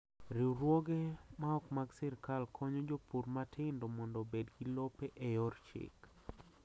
Riwruoge ma ok mag sirkal konyo jopur matindo mondo obed gi lope e yor chik.